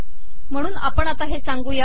म्हणून आपण आता हे सांगू या